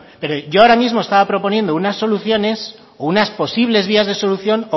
pero yo ahora mismo proponiendo unas soluciones o unas posibles vías de solución